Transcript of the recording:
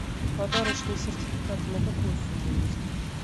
подарочные сертификаты на какую сумму есть